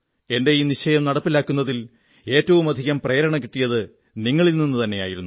എന്റെ ഈ നിശ്ചയം നടപ്പിലാക്കുന്നതിൽ ഏറ്റവും അധികം പ്രേരണ കിട്ടിയത് നിങ്ങളിൽ നിന്നുതന്നെയായിരുന്നു